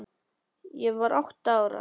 Ég var átta ára.